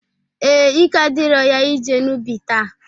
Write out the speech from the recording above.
Ee, ike adirọ ya ije n'ubi taa.